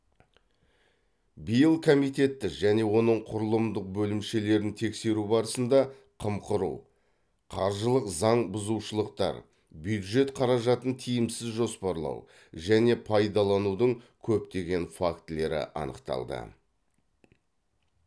биыл комитетті және оның құрылымдық бөлімшелерін тексеру барысында қымқыру қаржылық заң бұзушылықтар бюджет қаражатын тиімсіз жоспарлау және пайдаланудың көптеген фактілері анықталды